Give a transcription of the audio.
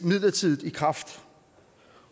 midlertidigt i kraft